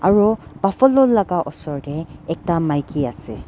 aro buffalo laka osor tae ekta maki ase.